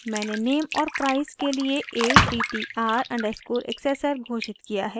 मैंने name और price के लिए attr_accessor घोषित किया है